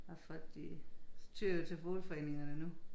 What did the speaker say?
Og folk de tyr jo til boligforeningerne nu